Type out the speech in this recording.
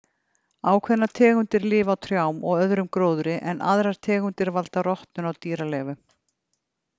Ákveðnar tegundir lif á trjám og öðrum gróðri en aðrar tegundir valda rotnun á dýraleifum.